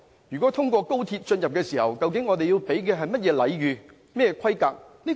如果他們透過高鐵進入香港，究竟我們要提供甚麼規格的禮遇？